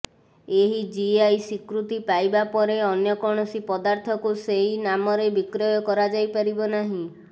ଏହି ଜିଆଇ ସ୍ୱୀକୃତି ପାଇବା ପରେ ଅନ୍ୟ କୌଣସି ପଦାର୍ଥକୁ ସେଇ ନାମରେ ବିକ୍ରୟ କରାଯାଇ ପାରିବ ନାହିଁ